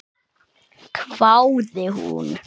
hváði hún.